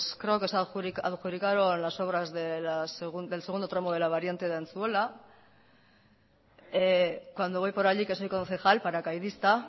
creo que se ha adjudicado las obras del segundo tramo de la variante de antzuola cuando voy para allí que soy concejal paracaidista